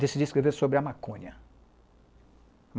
Decidi escrever sobre a maconha.